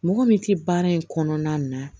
Mɔgɔ min tɛ baara in kɔnɔna na